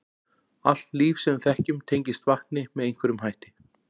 Allt líf sem við þekkjum tengist vatni með einhverjum hætti.